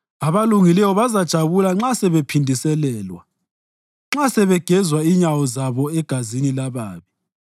Abalungileyo bazajabula nxa sebephindiselelwa, nxa sebegeza inyawo zabo egazini lababi.